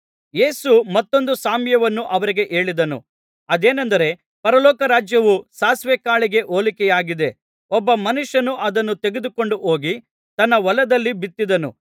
ಯೇಸು ಮತ್ತೊಂದು ಸಾಮ್ಯವನ್ನು ಅವರಿಗೆ ಹೇಳಿದನು ಅದೇನೆಂದರೆ ಪರಲೋಕರಾಜ್ಯವು ಸಾಸಿವೆ ಕಾಳಿಗೆ ಹೋಲಿಕೆಯಾಗಿದೆ ಒಬ್ಬ ಮನುಷ್ಯನು ಅದನ್ನು ತೆಗೆದುಕೊಂಡು ಹೋಗಿ ತನ್ನ ಹೊಲದಲ್ಲಿ ಬಿತ್ತಿದನು